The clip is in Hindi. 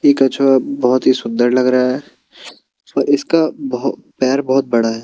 ये कछुआ बहुत ही सुंदर लग रहा है और इसका बहो पैर बहुत बड़ा है।